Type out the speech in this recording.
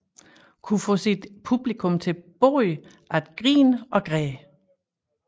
Kunne få sit publikum til både at grine og græde